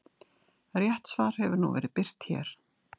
Rétt svar hefur nú verið birt hér.